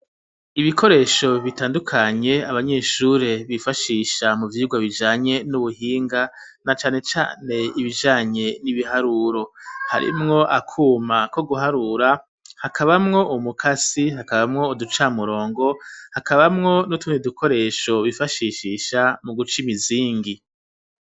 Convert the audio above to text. Ibikoresho bitandukanye abanyeshure bifashisha mu vyigwa bijanye n'ubuhinga, na cane cane ibijanye n'ibiharuro. Harimwo akuma ko guharura, hakabamwo umukasi, hakabamwo uducamurongo, hakabamwo n'utundi dukoresho bifashishisha mu guca imizingi.